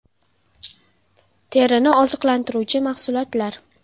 Terini oziqlantiruvchi mahsulotlar.